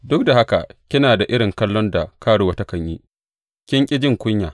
Duk da haka kina da irin kallon da karuwa takan yi; kin ƙi ki ji kunya.